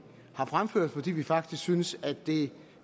har fremført fordi vi faktisk synes at det